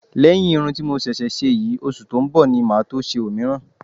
Lẹ́yìn irun ti mo ṣẹ̀ṣẹ̀ ṣe yìí, oṣù tó ń bọ̀ ni màá tó ṣe òmíràn